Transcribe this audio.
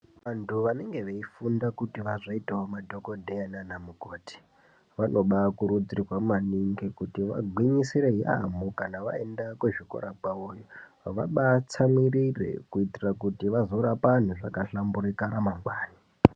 Vanhu vanenge veifunda kuti vazoitawo madhokodheya naanamukoti vanobaakurudzirwa yaamho kuti vagwinyisire vaenda kuzvikora kwavoyo vabaatsamwirire kuitire kuti vazorapa vanhu zvakahlamburikana mangwani.